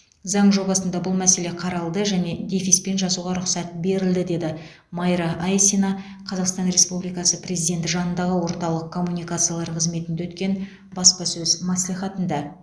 заң жобасында бұл мәселе қаралды және дефиспен жазуға рұқсат берілді деді майра айсина қазақстан республикасы президенті жанындағы орталық коммуникациялар қызметінде өткен баспасөз мәслихатында